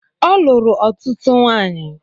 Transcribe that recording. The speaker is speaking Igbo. Ọ lụrụ ọtụtụ nwanyi